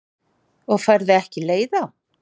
Og færð ekki leið á?